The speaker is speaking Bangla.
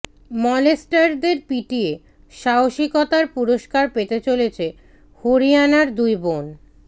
মলেস্টারদের পিটিয়ে সাহসীকতার পুরস্কার পেতে চলেছে হরিয়াণার দুই বোন